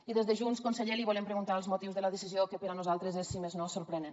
i des de junts conseller li volem preguntar els motius de la decisió que per a nosaltres és si més no sorprenent